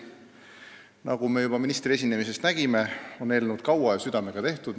Nagu me juba ministri esinemisest nägime, eelnõu on kaua ja südamega tehtud.